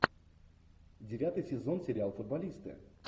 девятый сезон сериал футболисты